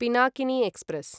Pinakini express